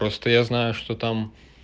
просто я знаю что там